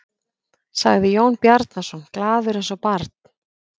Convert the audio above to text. sagði Jón Bjarnason, glaður eins og barn.